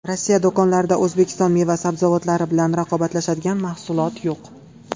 Rossiya do‘konlarida O‘zbekiston meva-sabzavotlari bilan raqobatlashadigan mahsulot yo‘q.